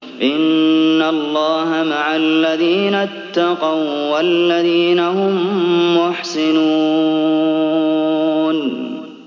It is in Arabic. إِنَّ اللَّهَ مَعَ الَّذِينَ اتَّقَوا وَّالَّذِينَ هُم مُّحْسِنُونَ